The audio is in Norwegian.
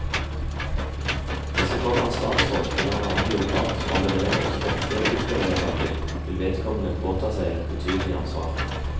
Hvis det kommer en statsråd eller en annen byråkrat og annullerer også dette bystyrevedtaket, vil vedkommende påta seg et betydelig ansvar.